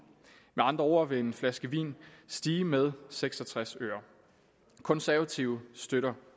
med andre ord vil en flaske vin stige med seks og tres øre de konservative støtter